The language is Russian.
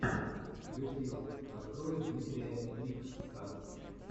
ютьюб открой дмитрия ликсссса